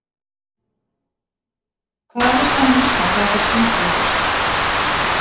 Hvað vissi hann um Ísland þegar hann fékk símtalið fyrst?